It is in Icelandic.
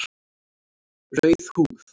Rauð húð